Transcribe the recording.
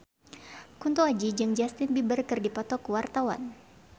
Kunto Aji jeung Justin Beiber keur dipoto ku wartawan